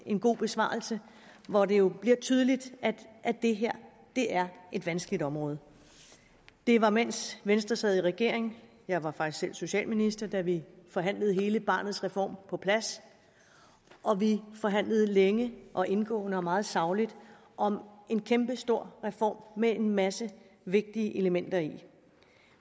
en god besvarelse hvor det jo blev tydeligt at det her er et vanskeligt område det var mens venstre sad i regering jeg var faktisk selv socialminister at vi forhandlede hele barnets reform på plads vi forhandlede længe og indgående og meget sagligt om en kæmpestor reform med en masse vigtige elementer i